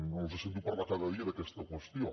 no els sento parlar cada dia d’aquesta qüestió